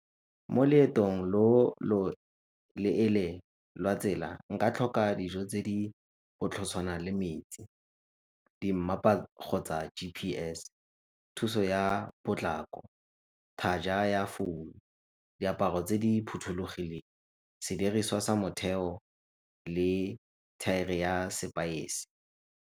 Mo loetong lo lo leele lwa tsela nka tlhoka dijo tse di le metsi, dimmapa kgotsa G_P_S, thuso ya potlako, charger ya founu, diaparo tse di phothulogileng, sediriswa sa motheo le thaere ya sepaese.